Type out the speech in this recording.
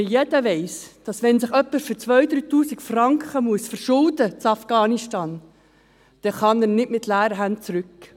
– Weil jeder weiss: Wenn sich jemand für 2000 bis 3000 Franken in Afghanistan verschulden muss, kann er nicht mit leeren Händen zurückkehren.